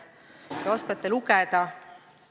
Te oskate lugeda.